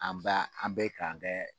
An b'a an bɛ kan kɛ